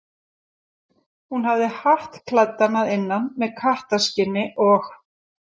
Hún hafði hatt klæddan að innan með kattarskinni og.